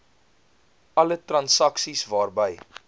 alle transaksies waarby